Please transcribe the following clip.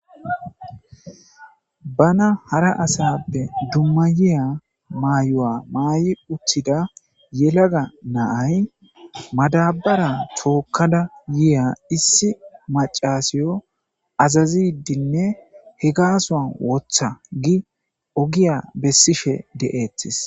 Bana hara asappe dumma yiya maayo7a maay'i uttida yelaga naay madabara tookkada yiya issi macaasiyo azazidinne he gaasa woththa gi ogiya bessife d'eetes.